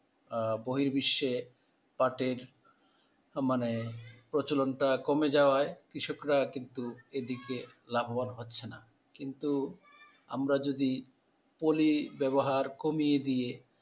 আহ বহির বিশ্বে পাটের মানে প্রচলনটা কমে যাওয়ায় কৃষকরা কিন্তু এদিকে লাভবান হচ্ছে না কিন্তু আমরা যদি পলি ব্যবহার কমিয়ে দিয়ে,